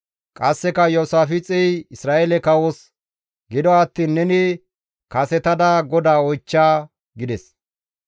Qasseka Iyoosaafixey Isra7eele kawos, «Gido attiin neni kasetada GODAA oychcha» gides.